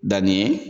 Danni ye